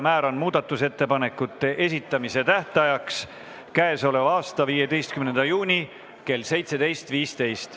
Määran muudatusettepanekute esitamise tähtajaks k.a 15. juuni kell 17.15.